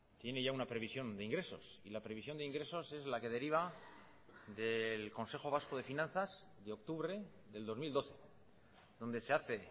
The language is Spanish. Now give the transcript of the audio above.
tiene ya una previsión de ingresos y la previsión de ingresos es la que deriva del consejo vasco de finanzas de octubre del dos mil doce donde se hace